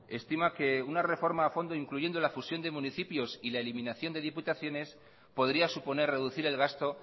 estima que una reforma a fondo incluyendo la fusión de municipios y la eliminación de diputaciones podría suponer reducir el gasto